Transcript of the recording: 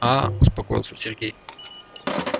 аа успокоился сергей